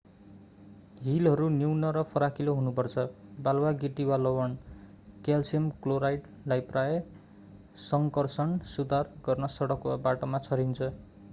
हिलहरू न्यून र फराकिलो हुनुपर्छ। बालुवा गिटी वा लवण क्याल्सियम क्लोराइडलाई प्राय: सङ्कर्षण सुधार गर्न सडक वा बाटामा छरिन्छ।